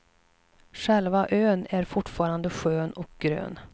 Själva ön är fortfarande skön och grön.